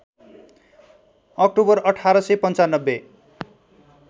October १८९५